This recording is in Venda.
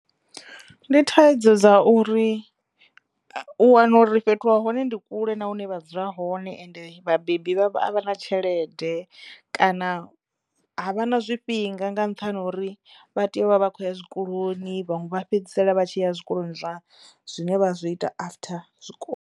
Ndi thaidzo dza uri u wana uri fhethu ha hone ndi kule na hune vha dzula hone ende vhabebi vhavho a vha na tshelede kana a vha na zwifhinga nga nṱhani ha uri vha teyo u vha vha khou ya zwikoloni vhaṅwe vha fhedzisela vha tshi ya zwikoloni zwa zwine vha zwi ita after zwikolo.